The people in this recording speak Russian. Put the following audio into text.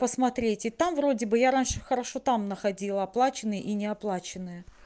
посмотрите там вроде бы я раньше хорошо там находила оплаченные и не оплаченные